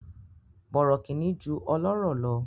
Bọ̀rọ̀kìnní ju ọlọ́rọ̀ lọ.